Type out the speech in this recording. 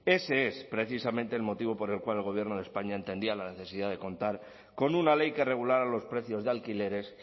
ese es precisamente el motivo por el cual el gobierno españa entendía la necesidad de contar con una ley que regulara los precios de alquileres